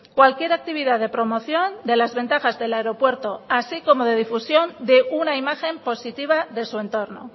cualquier actividad de promoción de las ventajas del aeropuerto así como de difusión de una imagen positiva de su entorno